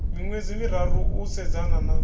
miṅwedzi miraru u sedzana na